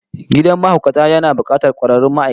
Gidan mahaukata yana bukatar kwararrun ma'aikata